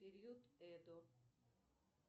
период эдо